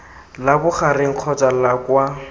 la bogareng kgotsa la kwa